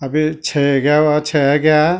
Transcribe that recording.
अभी छै एग्यावा छै ऐग्या।